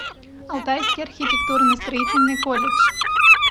алтайский архитектурно строительный колледж